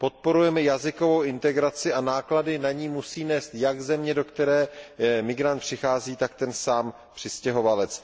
Podporujeme jazykovou integraci a náklady na ni musí nést jak země, do které migrant přichází, tak sám přistěhovalec.